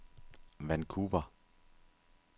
Vancouver